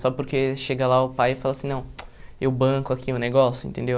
Só porque chega lá o pai e fala assim, não, eu banco aqui o negócio, entendeu?